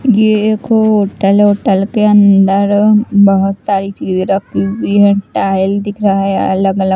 यह एक होटल वोटल के अंदर अ म बहुत सारी चीज़ रखी हुई है टाइल दिख रहा है अलग अलग--